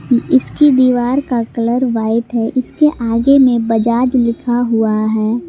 इसकी दीवार का कलर व्हाइट है इसके आगे में बजाज लिखा हुआ है।